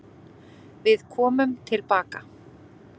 Við komum tilbaka.